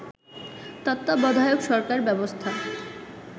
তত্ত্বাবধায়ক সরকার ব্যবস্থা